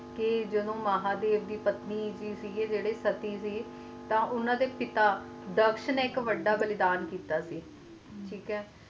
ਕ ਜਦੋ ਮਹਾਦੇਵ ਦੀ ਪਤਨੀ ਸੀ ਜੇਰੀ ਸੀਤਾ ਉਨ੍ਹਾਂ ਦੇ ਪਿਤਾ ਦਕਸ਼ ਨੇ ਇਕ ਵੱਡਾ ਬਲੀਦਾਨ ਦਿੱਤਾ ਸੀ ਠੀਕ ਹੈ